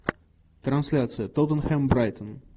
трансляция тоттенхэм брайтон